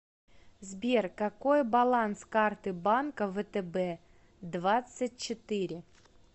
сбер какой баланс карты банка втб двадцать четыре